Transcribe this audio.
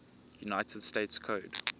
united states code